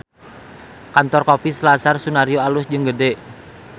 Kantor Kopi Selasar Sunaryo alus jeung gede